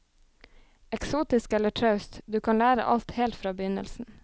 Eksotisk eller traust, du kan lære alt helt fra begynnelsen.